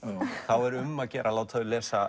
er um að gera að láta þau lesa